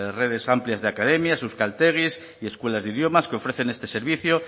redes amplias de academias euskaltegis y escuelas de idiomas que ofrecen este servicio